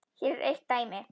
Hér er eitt dæmi.